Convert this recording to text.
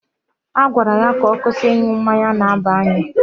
A gwara ya ka ọ kwụsị ịṅụ mmanya na-aba n'anya.